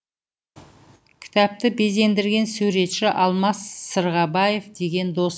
кітапты безендірген суретші алмас сырғабаев деген досым